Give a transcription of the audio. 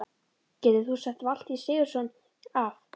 Getur þú sett Valtý Sigurðsson af?